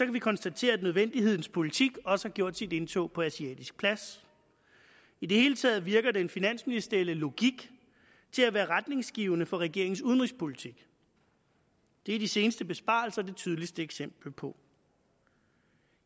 vi konstatere at nødvendighedens politik også har gjort sit indtog på asiatisk plads i det hele taget virker den finansministerielle logik til at være retningsgivende for regeringens udenrigspolitik det er de seneste besparelser det tydeligste eksempel på